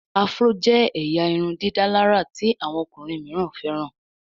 Afro jé ẹyà irundidalara tí àwọn ọkùnrin míràn feran.